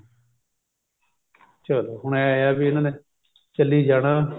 ਚਲੋ ਹੁਣ ਇਹ ਵੀ ਇਹਨਾ ਨੇ ਚੱਲੀ ਜਾਣਾ